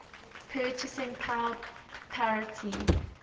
purchasing power parity